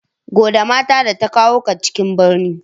Gode mata da ta kawo ka cikin birni.